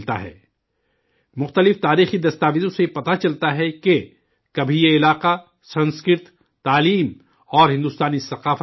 مختلف تاریخی دستاویزوں سے یہ پتہ چلتا ہے کہ کبھی یہ علاقہ سنسکرت، تعلیم اور ہندوستانی ثقافت کا مرکز تھا